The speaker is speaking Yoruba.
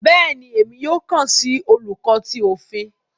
Béèni, Èmí yóò kán si Oluko tí Òfin